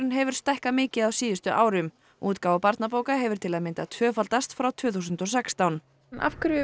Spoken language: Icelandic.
hefur stækkað mikið á síðustu árum útgáfa barnabóka hefur til að mynda tvöfaldast frá tvö þúsund og sextán af hverju vill